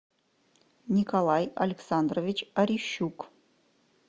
николай александрович орищук